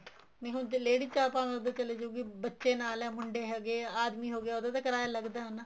ਹੁਣ ਜ਼ੇ ladies ਭਾਵੇਂ ਉਹ ਤਾਂ ਚਲੀ ਜਉਗੀ ਬੱਚੇ ਨਾਲ ਹੈ ਮੁੰਡੇ ਹੈਗੇ ਆਦਮੀ ਹੋ ਗਿਆ ਉਹਦਾ ਤਾਂ ਕਿਰਾਇਆ ਲੱਗਦਾ ਹੈ ਨਾ